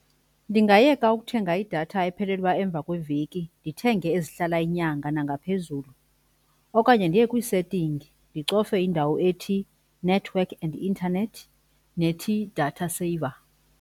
Ndingayiyeka ukuthenga idatha ephelelwa emva kweveki ndithenge ezihlala inyanga nangaphezulu. Okanye ndiye kwii-setting ndicofe indawo ethi network and internet, nethi data saver.